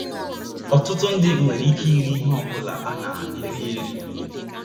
Ọtụtụ ndị nwere ike iri ihe ọ bụla a na - eri eri.